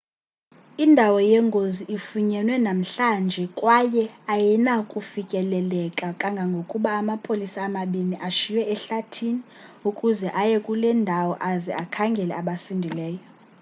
indawo yengozi ifunyenwe namhlanje kwaye ayinakufikeleleka kangangokuba amapolisa amabini ashiywe ehlathini ukuze aye kule ndawo aze akhangele abasindileyo